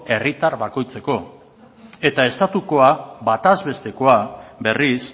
herritar bakoitzeko eta estatukoa bataz bestekoa berriz